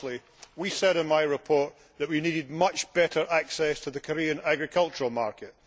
Firstly, we said in my report that we needed much better access to the Korean agricultural market.